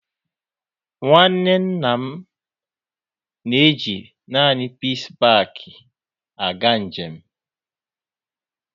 Nwanne nna m na èji naanị Peace Paak aga njem